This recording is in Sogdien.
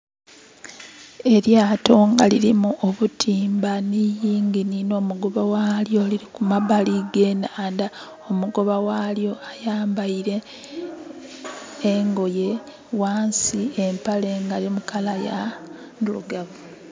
Elyaato lirimu obutimba ni yingini no mugoba walyo liri kumabali ge naandha. Omugoba walyo ayambaire engoye wansi empale eri mu color ya ndirugavu